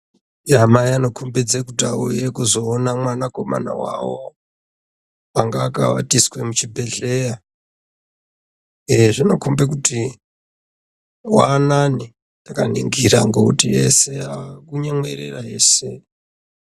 mai vanokhombidze kuti vauya kuzoona mwanakomana wawo anga akawatiswa muchibhedhlera eeh zvinokhombe kuti waanani takaningira ngokuti vese vaaku nyemwerera ese.